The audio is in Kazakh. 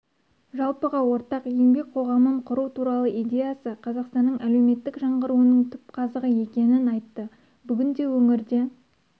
жалпыға ортақ еңбек қоғамын құру туралы идеясы қазақстанның әлеуметтік жаңғыруының түпқазығы екенін айтты бүгінде өңірде